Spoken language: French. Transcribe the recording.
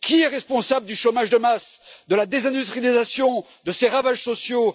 Qui est responsable du chômage de masse, de la désindustrialisation, de ses ravages sociaux?